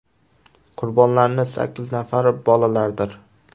Qurbonlarning sakkiz nafari bolalardir.